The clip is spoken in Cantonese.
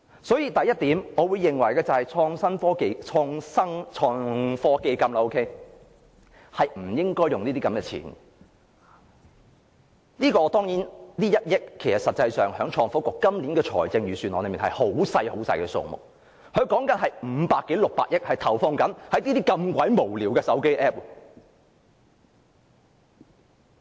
所以，第一，我認為創科基金不應花這些錢，撥給創科局這1億元其實在今年的財政預算案是微不足道的數目，但局方正有500多億至600億元投放在這類如此無聊的手機 App 上。